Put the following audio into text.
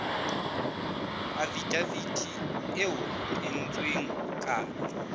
afidaviti eo ho entsweng kano